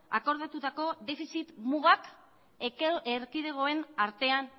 akordatutako defizit mugak erkidegoen artean